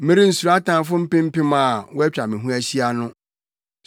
Merensuro atamfo mpem mpem a wɔatwa me ho ahyia no.